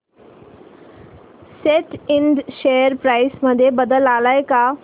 सॅट Ind share price मध्ये बदल आलाय का